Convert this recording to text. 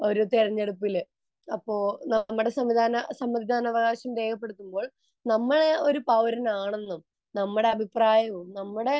തെരഞ്ഞെടുപ്പിൽ . അപ്പോൾ നമ്മുടെ സമ്മതിദാനാവകാശം രേഖപ്പെടുത്തുമ്പോൾ നമ്മൾ ഒരു പൗരനാണെന്നും നമ്മളെ അഭിപ്രായവും നമ്മളെ